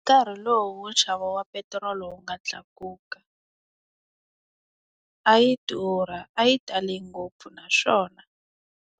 Nkarhi lowu nxavo wa petirolo wu nga tlakuka, a yi durha a yi tale ngopfu naswona,